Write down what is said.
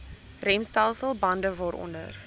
remstelsel bande waaronder